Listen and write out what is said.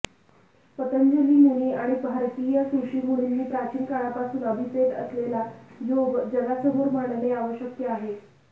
पतंजली मुनी आणि भारतीय ऋषीमुनींनी प्राचीन काळापासून अभिप्रेत असलेला योग जगासमोर मांडणे आवश्यक आहे